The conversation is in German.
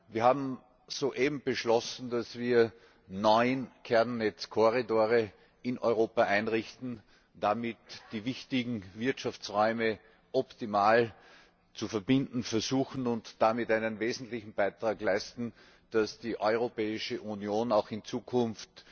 Wir haben soeben beschlossen, dass wir neun Kernnetzkorridore in Europa einrichten, damit die wichtigen Wirtschaftsräume optimal zu verbinden versuchen und somit einen wesentlichen Beitrag leisten, dass die Europäische Union auch in Zukunft